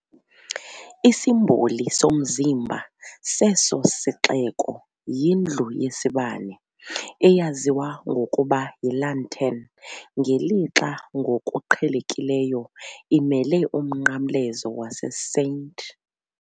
Isimboli "somzimba" seso sixeko yindlu yesibane, eyaziwa ngokuba yiLantern, ngelixa ngokuqhelekileyo imele uMnqamlezo waseSt.